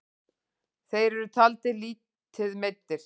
Þeir eru taldir lítið meiddir.